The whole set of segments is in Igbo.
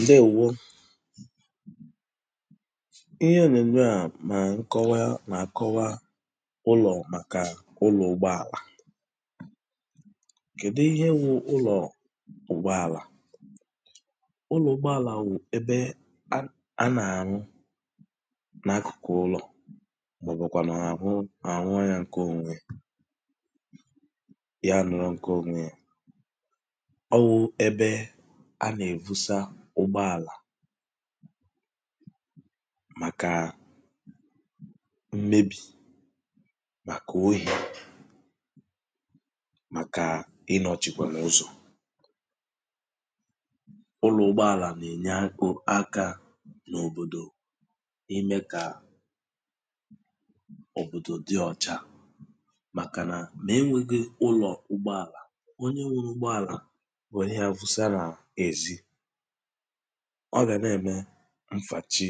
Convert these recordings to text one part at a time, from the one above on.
ǹdewō ihe ònyònyo a nà nkọwa ulọ̀ màkà ulọ̀ugbọàlà kèdi ihe wụ ulọ́ugbọàlà ụlọ̀ugbọàlà wụ̀ ebe a nà-àlụ n’akụ̀kụ̀ ụlọ̀ màọ̀bụ̀kwà nà àhụ àrụọ ya ǹke onwē Ya alọ̄kwa ònwe ya ọ wụ ebe a nà-èvusa ụgbọàlà màkà mmebì màkà ohi màkà ilọ̀chìkwàlù ụzọ̀ ụlọ̀ugbọàlà n’ènye akā n’òbòdò imē kà òbòdò dị ọ̀cha màkà nà ma enweghī ụlọ̀ugbọàlà onye wuru ụgbọàlà wère ya vusa n'èzi ɔ́ gà ọ gà nà -ème ème à̀ fàche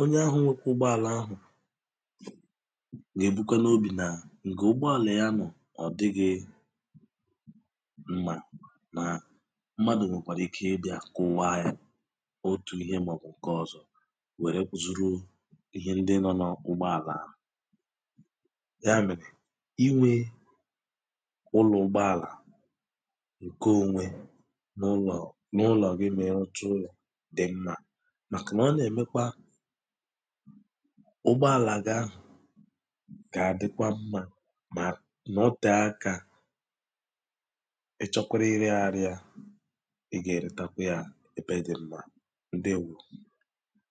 onye ahụ̀ nwekwe ụgbọàlà ahụ̀ gà èbikwā n’obì na ǹgà ụgbọàlà ya ahụ̀ n’ọ̀dighi mà nà mmadụ̀ nwèkwàrà ike ibīā ǹgaahụ̀ otù ihē màọ̀bụ̀ ǹke ọzọ̄ wère zuru ihe ndi nọ n’ugbọàlà ya mèrè inwe ụlọ̀ ugbọàlà ǹke onwe n’ụlọ̀ n’ụlọ̀ gị mà ị ruchaa ụlọ̀ dị̀ mmā màkà nà ọ́ nà-èmekwa ụgbọàlà ga gà-àdikwa mmā mà nọtee akā ị chọkwara irēghari ya ị gà-èretakwiya ebe dị mma ǹdeèwo